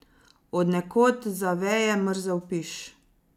Od nekod zaveje mrzel piš.